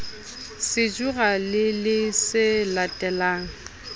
sejura le le se latelang